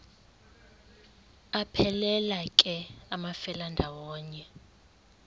aphelela ke amafelandawonye